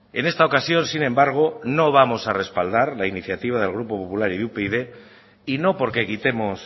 en esta ocasión sin embargo no vamos a respaldar la iniciativa del grupo popular y upyd y no porque quitemos